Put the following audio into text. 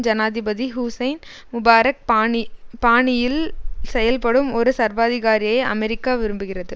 ஜனாதிபதி Hussein Mubarak பாணி பாணியில் செயல்படும் ஒரு சர்வாதிகாரியை அமெரிக்கா விரும்புகிறது